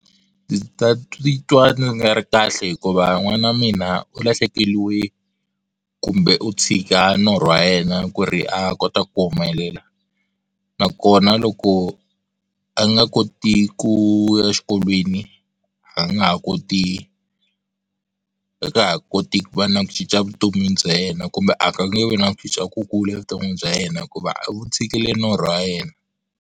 Ndzi ta titwa ndzi nga ri kahle hikuva n'wana wa mina u lahlekeriwe kumbe u tshika norho wa yena ku ri a kota ku humelela na kona loko a nga koti ku ya exikolweni a nga ha koti a nga ha koti ku va na ku cinca vutomi bya yena kumbe a nge vi na ku cinca kukulu vutomi bya yena hikuva u tshikile norho wa yena.